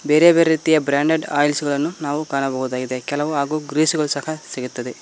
ಬೇರೆ ಬೇರೆ ರೀತಿಯ ಬ್ರಾಂಡೆಡ್ ಆಯಿಲ್ಸ್ ಗಳನ್ನು ನಾವು ಕಾಣಬಹುದಾಗಿದೆ ಕೆಲವು ಹಾಗೂ ಗ್ರೀಸ್ ಗಳು ಸಹ ಸಿಗುತ್ತದೆ.